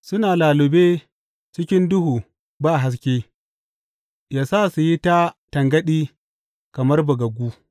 Suna lallube cikin duhu ba haske; yă sa su yi ta tangaɗi kamar bugaggu.